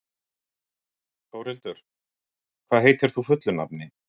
Þórhildur, hvað heitir þú fullu nafni?